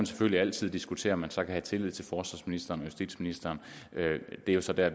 selvfølgelig altid diskutere om man så kan have tillid til forsvarsministeren og justitsministeren det er så der